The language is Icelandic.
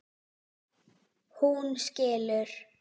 Hún skilur.